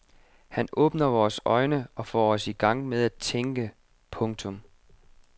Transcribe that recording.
Han åbner vores øjne og får os i gang med at tænke. punktum